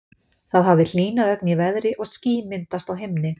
Það hafði hlýnað ögn í veðri og ský myndast á himni.